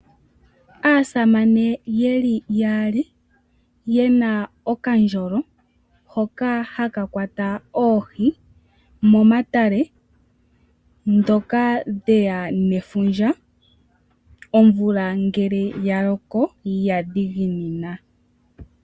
Aasamane yeli yaali, ye na okandjolo hoka haka kwata oohi momatale, ndhoka dhe ya nefundja omvula ngele ya loko ya dhiginina.